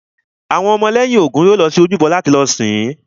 Àwọn ọmọ lẹ́yìn Ògún yóò lọ sí ojúbọ láti lọ sìn-ín